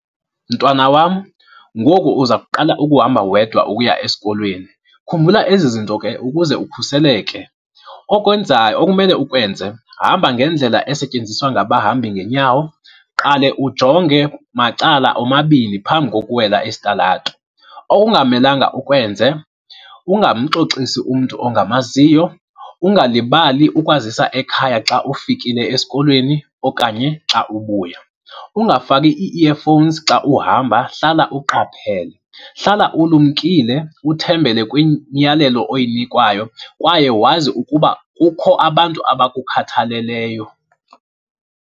Mntwana wam, ngoku uza kuqala ukuhamba wedwa ukuya esikolweni. Khumbula ezi zinto ke ukuze ukhuseleke. Okwenzayo, okumele ukwenze hamba ngendlela esetyenziswa ngabahambi ngeenyawo, qale ujonge macala omabini phambi kokuwela isitalato. Okungamelanga ukwenze, ungamxoxisi umntu ongamaziyo, ungalibali ukwazisa ekhaya xa ufikile esikolweni okanye xa ubuya, ungafaki ii-earphones xa uhamba hlala uqaphele. Hlala ulumkile uthembele kwimiyalelo oyinikwayo kwaye wazi ukuba kukho abantu abakukhathaleleyo.